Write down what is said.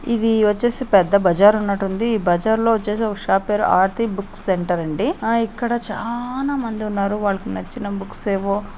ఇది వచ్చేసి పెద్ద బజార్ ఉన్నట్టుంది. ఈ బజార్లో వచ్చేసి ఓ షాప్ పేరు ఆర్తి బుక్ సెంటర్ అండి. ఆ ఇక్కడ చానా మంది ఉన్నారు. వాళ్లకి నచ్చిన బుక్స్ ఏవో--